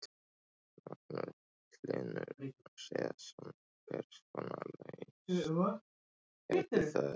Magnús Hlynur Hreiðarsson: Hvers konar lausn gæti það orðið?